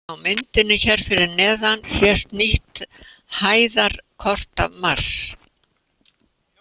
Á myndinni hér fyrir neðan sést nýtt hæðarkort af Mars.